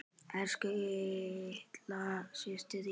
Elsku litla systa mín.